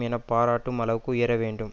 என்று பாராட்டும் அளவுக்கு உயரவேண்டும்